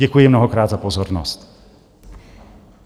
Děkuji mnohokrát za pozornost.